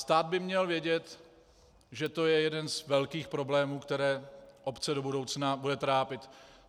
Stát by měl vědět, že to je jeden z velkých problémů, který obce do budoucna bude trápit.